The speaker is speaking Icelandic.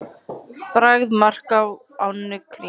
Bragð: mark á ánni Krímu.